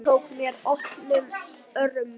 Hún tók mér opnum örmum.